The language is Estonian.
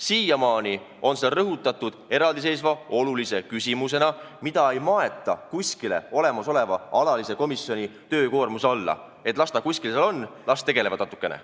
Siiamaani on seda rõhutatud eraldiseisva küsimusena, mida ei maeta kuskile olemasoleva alalise komisjoni töökoormuse alla, et las ta kuskil seal olla, las tegelevad natukene.